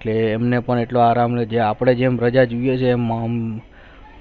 હમને પણ એટલો આરામ નથી અપને પણ જે રજા દિયો જાયે મમ